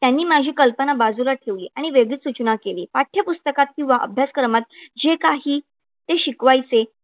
त्यांनी माझी कल्पना बाजूला ठेवली आणि वेगळीच सूचना केली, पाठ्यपुस्तकात किंवा अभ्यासक्रमात जे काही ते शिकवायचे,